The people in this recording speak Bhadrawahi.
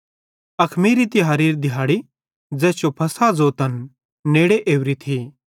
अखमीरी तिहारेरी दिहाड़ी ज़ैस जो फ़सह ज़ोतन नेड़े ओरी थी